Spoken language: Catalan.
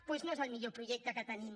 doncs no és el millor projecte que tenim